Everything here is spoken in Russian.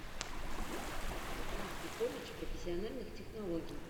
поехали омский колледж профессиональных технологий